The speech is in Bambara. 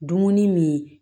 Dumuni min